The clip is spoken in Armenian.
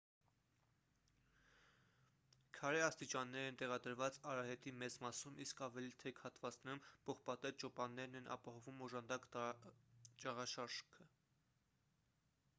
քարե աստիճաններ են տեղադրված արահետի մեծ մասում իսկ ավելի թեք հատվածներում պողպատե ճոպաններն են ապահովում օժանդակ ճաղաշարքը